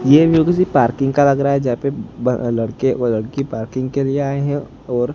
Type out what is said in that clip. ये व्यू किसी पार्किंग का लग रहा है जहां पे ब अ लड़के व लड़की पार्किंग के लिए आए है और--